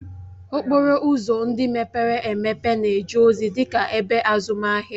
Okporo ụzọ ndị mepere emepe na-eje ozi dị ka ebe azụmahịa